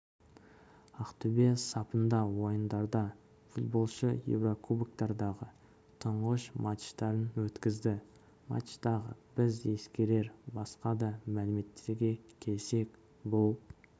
аақтөбе сапында ойындарда футболшы еурокубоктардағы тұңғыш матчтарын өткізді матчтағы біз ескерер басқа да мәліметтерге келсек ббұл